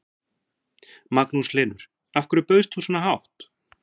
Magnús Hlynur: Af hverju bauðst þú svona hátt?